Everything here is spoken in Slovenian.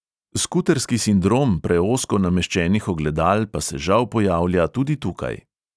Skuterski sindrom preozko nameščenih ogledal pa se žal pojavlja tudi tukaj.